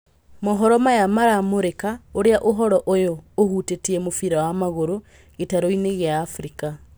Mohoro maya maramũrĩka ũrĩa ũhoro ũyũ ũhutĩtie mũbira wa magũrũ gĩtaroinĩ gĩa Afrika.